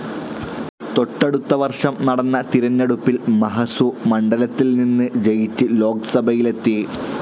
തൊട്ടടുത്ത വർഷം നടന്ന തിരഞ്ഞെടുപ്പിൽ മഹസു മണ്ഡലത്തിൽനിന്ന് ജയിച്ച് ലോക്‌സഭയിലെത്തി.